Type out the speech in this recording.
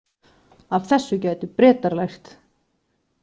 Af þessu gætu Bretar lært